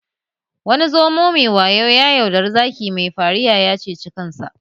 Wani zomo mai wayo ya yaudari zaki mai fahariya ya ceci ransa